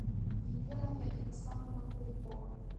елена ярославовна куликова